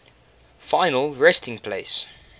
final resting place